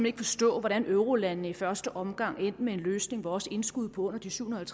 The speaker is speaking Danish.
ikke forstå hvordan eurolandene i første omgang endte med en løsning hvor også indskud på under de syvhundrede